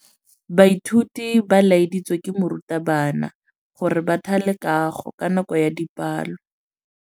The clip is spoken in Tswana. Baithuti ba laeditswe ke morutabana gore ba thale kagô ka nako ya dipalô.